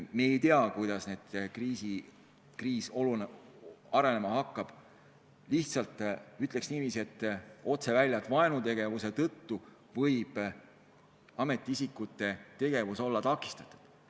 Me ei tea, kuidas kriis arenema hakkab, aga vaenutegevuse tõttu võib ametiisikute tegevus olla takistatud.